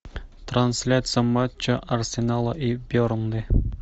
трансляция матча арсенала и бернли